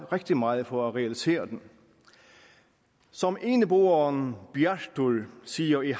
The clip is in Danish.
rigtig meget på at realisere den som eneboeren bjartur siger i